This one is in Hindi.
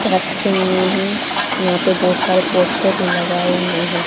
रक्खे हुए हैं यहां पे बहुत सारे पोस्टर लगाए हुए हैं।